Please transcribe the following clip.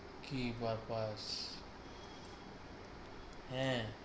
কি ব্যাপার? হ্যাঁ